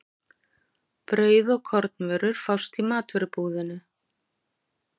Brauð og kornvörur fást í matvörubúðinni.